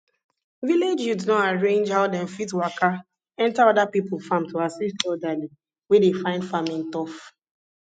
village youth don arrange how dem fit waka enter other people farm to assist elderly wey dey find farming tough